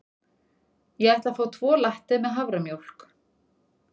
Ég ætla að fá tvo latte með haframjólk.